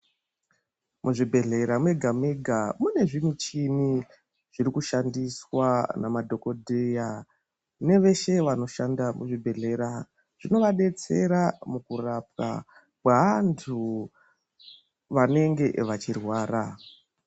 Muzvibhedhlera mega-mega mune zvimuchini zvirikushandiswa namadhokodheya neveshe vanoshanda muzvibhedhlera, zvinovadetsera mukurapwa kweanthu vanenge vachirwara.